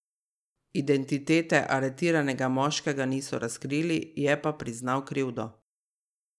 Identitete aretiranega moškega niso razkrili, je pa priznal krivdo.